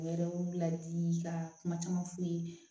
U yɛrɛ y'u ladi ka kuma caman f'u ye